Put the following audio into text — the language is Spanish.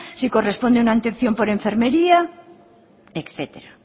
si corresponde una atención por enfermería etcétera